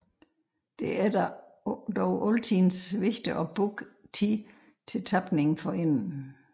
Vigtigt er det dog altid at booke tid til tapning forinden